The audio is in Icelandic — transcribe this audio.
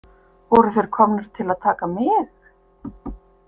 Voru þeir komnir til að taka mig?